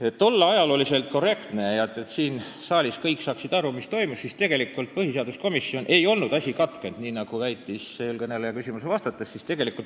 Et olla ajaloo suhtes korrektne ja et kõik siin saalis saaksid aru, mis toimus, siis lisan, et tegelikult põhiseaduskomisjonis ei olnud arutelu valimisringkondade võimaliku muutmise teemal katkenud, nii nagu väitis eelkõneleja küsimusele vastates.